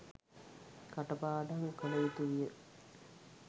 කට පාඩම් කළ යුතු විය.